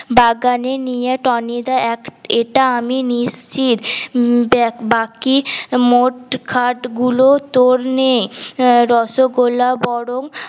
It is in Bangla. বাগানে নিয়ে টনিদা এক এটা আমি নিশ্চিত উম বাকি মোট খাট গুলো তোর নে রসগোল্লা বরং